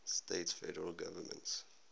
states federal government